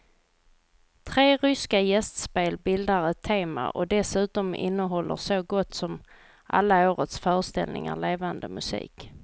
Tre ryska gästspel bildar ett tema och dessutom innehåller så gott som alla årets föreställningar levande musik.